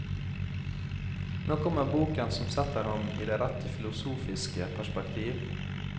Nå kommer boken som setter ham i det rette filosofiske perspektiv.